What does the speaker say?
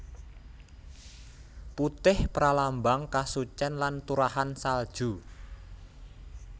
Putih pralambang kasucen lan turahan salju